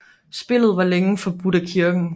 Spillet var længe forbudt af kirken